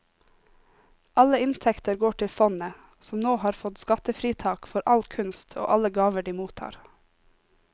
Alle inntekter går til fondet, som nå har fått skattefritak for all kunst og alle gaver de mottar.